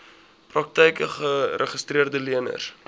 praktyke geregistreede leners